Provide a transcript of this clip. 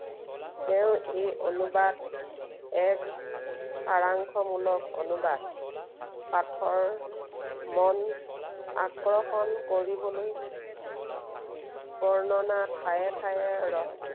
তেওঁ এই অনুবাদ এক সাৰাংশ মূলক অনুবাদ। পাঠৰ মন আকৰ্ষণ কৰিবলৈ বৰ্ণনাৰ ঠায়ে ঠায়ে